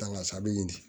a bɛ ɲini